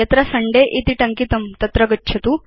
यत्र सुन्दय इति टङ्कितं तत्र गच्छतु